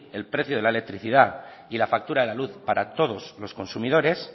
el precio de la electricidad y la factura de la luz para todos los consumidores